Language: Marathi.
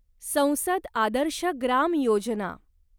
संसद आदर्श ग्राम योजना